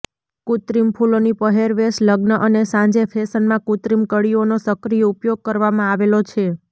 કૃત્રિમ ફૂલોની પહેરવેશ લગ્ન અને સાંજે ફેશનમાં કૃત્રિમ કળીઓનો સક્રિય ઉપયોગ કરવામાં આવેલો છે